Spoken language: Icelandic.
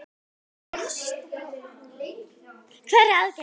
Hverra aðgerða þá?